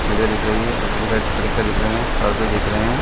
सीढ़ियां दिख रही है ऊपर के साइड खिड़कियां दिख रहे हैं पर्दे दिख रहे हैं।